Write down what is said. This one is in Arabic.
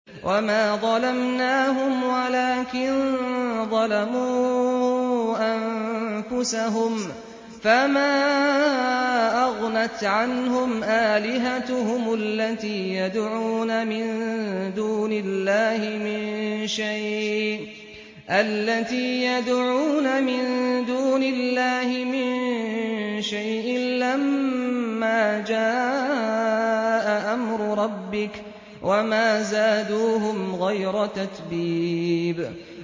وَمَا ظَلَمْنَاهُمْ وَلَٰكِن ظَلَمُوا أَنفُسَهُمْ ۖ فَمَا أَغْنَتْ عَنْهُمْ آلِهَتُهُمُ الَّتِي يَدْعُونَ مِن دُونِ اللَّهِ مِن شَيْءٍ لَّمَّا جَاءَ أَمْرُ رَبِّكَ ۖ وَمَا زَادُوهُمْ غَيْرَ تَتْبِيبٍ